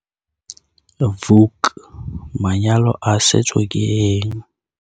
Vuk- Manyalo a setso ke eng?